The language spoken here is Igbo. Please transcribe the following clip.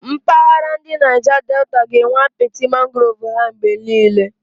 Mpaghara ndi Naija Deta ga-enwe apiti mangrovu ha mgbe niile.